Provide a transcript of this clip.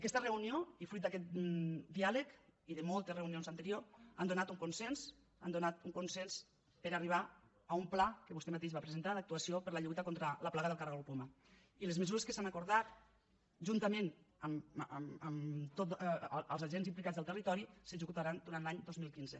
aquesta reunió i fruit d’aquest diàleg i de molts reunions anteriors ha donat un consens ha donat un consens per arribar a un pla que vostè mateix va presentar d’actuació per la lluita contra la plaga del caragol poma i les mesures que s’han acordat juntament amb tots els agents implicats del territori s’executaran durant l’any dos mil quinze